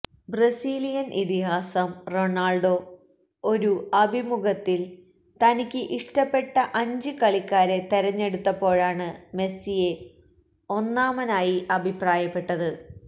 Brazilian ഇതിഹാസം Ronaldo ഒരു അഭിമുഖത്തില് തനിക്ക് ഇഷ്ടപ്പെട്ട അഞ്ച് കളിക്കാരെ തെരഞ്ഞെടുത്തപ്പോഴാണ് മെസ്സിയെ ഒന്നാമനായി അഭിപ്രായപ്പെട്ടത്